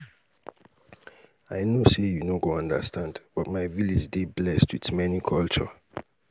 i no say you no go understand but my village dey blessed with many culture.